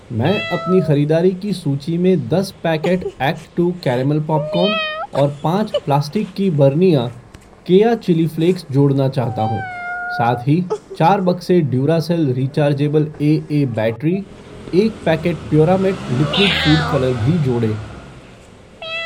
मैं अपनी ख़रीदारी की सूची में दस पैकेट एक्टटू कारमेल पॉपकॉर्न और पाँच प्लास्टिक की बरनियाँ केया चिली फ़्लेक्स जोड़ना चाहता हूँ। साथ ही, चार बक्से ड्यूरासेल रिचार्जेबल एए बैटरी , एक packet Puramate liquid food colour भी जोड़ें।